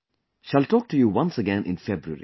Shall talk to you once again in February